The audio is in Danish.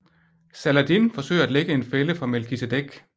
Saladin forsøger at lægge en fælde for Melkisedek